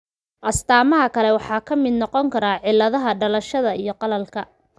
Astaamaha kale waxaa ka mid noqon kara cilladaha dhalashada iyo qalalka.